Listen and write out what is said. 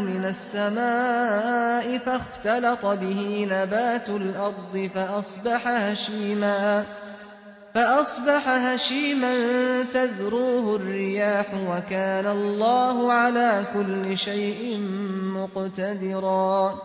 مِنَ السَّمَاءِ فَاخْتَلَطَ بِهِ نَبَاتُ الْأَرْضِ فَأَصْبَحَ هَشِيمًا تَذْرُوهُ الرِّيَاحُ ۗ وَكَانَ اللَّهُ عَلَىٰ كُلِّ شَيْءٍ مُّقْتَدِرًا